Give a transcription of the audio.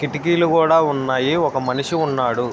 కిటికీలు కూడా ఉన్నాయి ఒక మనిషి కూడా ఉన్నాడు.